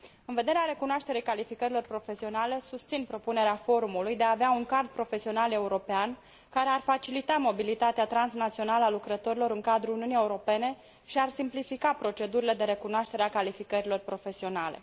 În vederea recunoașterii calificărilor profesionale, susțin propunerea forumului de a avea un card profesional european, care ar facilita mobilitatea transnațională a lucrătorilor în cadrul Uniunii Europene și ar simplifica procedurile de recunoaștere a calificărilor profesionale.